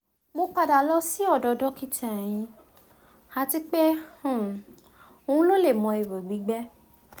mo pada lọ si ọdọ dọkita ehin ati pe um lo le mọ iho gbigbẹ